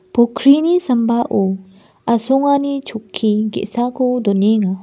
pokrini sambao asongani chokki ge·sako donenga.